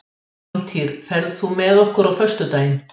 Hjálmtýr, ferð þú með okkur á föstudaginn?